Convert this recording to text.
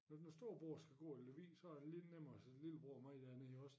Når når storebror skal gå i Lemvig så er det lidt nemmere at sende lillebror med derned også